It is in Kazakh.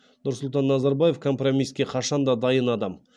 нұрсұлтан назарбаев компромиске қашан да дайын адам